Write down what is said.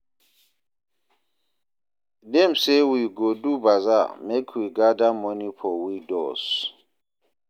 Dem say we go do bazaar make we gather moni for widows.